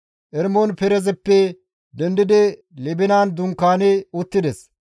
Eremon-Perezeppe dendidi Libinan dunkaani uttides.